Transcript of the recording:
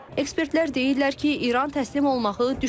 Ekspertlər deyirlər ki, İran təslim olmağı düşünmür.